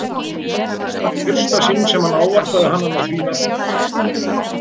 Það var í fyrsta sinn sem hann ávarpaði hana með því nafni.